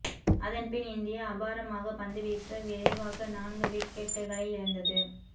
அதன்பின் இந்தியா அபாரமாக பந்து வீச விரைவாக நான்கு விக்கெட்டுக்களை இழந்தது